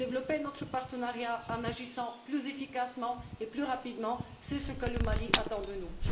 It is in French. Développer notre partenariat, en agissant plus efficacement et plus rapidement, c'est ce que le Mali attend de nous.